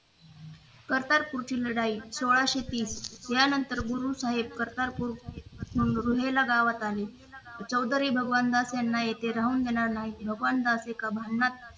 करतारपूरची लढाई सोळाशे तीस यानंतर गुरु साहेब करतारपूर रोहिला गावात आले चौधरी भगवानदास यांना येथे राहू देणार नाही भगवानदास एका भांड्यात